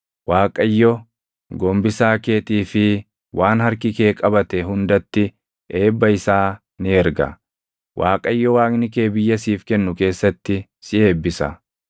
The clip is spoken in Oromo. Waaqayyo gombisaa keetii fi waan harki kee qabate hundatti eebba isaa ni erga. Waaqayyo Waaqni kee biyya siif kennu keessatti si eebbisa.